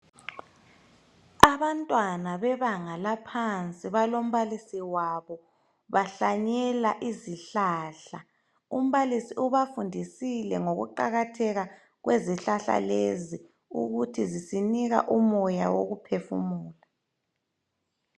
Abantwana bebanga laphansi balombalisi wabo bahlanyela izihlahla. Umbalisi ubafundisile ngokuqakatheka kwezihlahla lezi ukuthi zisinika umoya wokuphefumula.